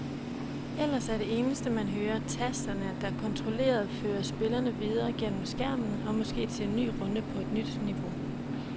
Ellers er det eneste man hører tasterne, der kontrolleret fører spillerne videre gennem skærmen og måske til en ny runde på et nyt niveau.